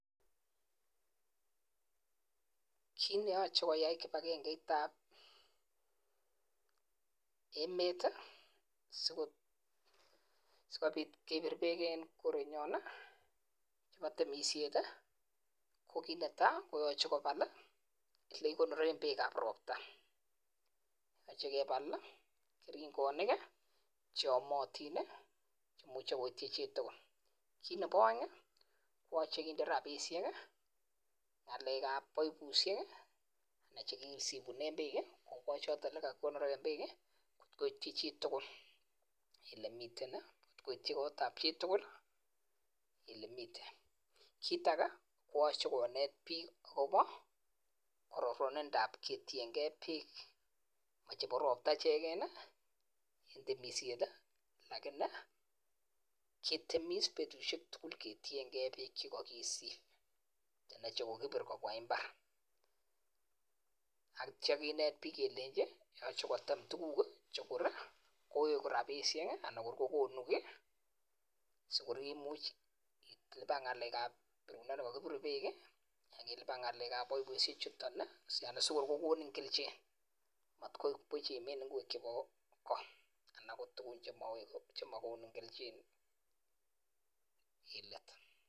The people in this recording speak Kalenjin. Kit neyache koyai kibagenget ab emet sikobit kebir bek en kerenyon AK temishet ko kit netai koyache kobal olekikonoren bek ab robta akoyache kebal keringonik cheyomotin cheimuche koiti chutugul Nebo aeng koyache kende rabishek AK ngalek ab baibushiek chekisibunen bek choton en olekikonoren bek konai chutugul en olemiten akoiti kotab chitugul en olemiten kora koyache konet bik ako chebo robta inegen AK temishet akoketemis betushek tugul akotiengei bek chekakisib anan chekokibir konyo imbar akitya kenet bik kelenji yache kotem tuguk cheyoche kowek rabishek sikorib ngalek ab chekakibirunen bek ak ngalek ab baibushek chuton sikokonin keljin matyoibuch matkoi Buch imin ingwek anan ko tuguk chemakin keljin